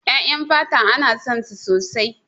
Ƴaƴan fata ana son su sosai.